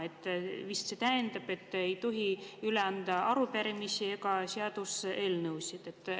See vist tähendab, et ei tohi üle anda arupärimisi ja seaduseelnõusid.